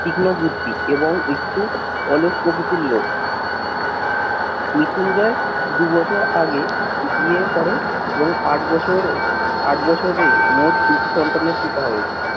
তীক্ষ্ণ বুদ্ধি এবং একটু অলস প্রকৃতির লোক। মৃত্যুঞ্জয় দুবছর আগে বিয়ে করে এবং আট বছর আট বছরে মোট দুটি সন্তানের পিতা হয়েছে।